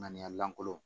Ŋaniya lankolon